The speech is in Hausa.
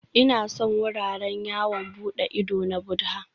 Ina son wuraren yawon bude ido na Buddha